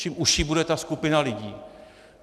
Čím užší bude ta skupina lidí...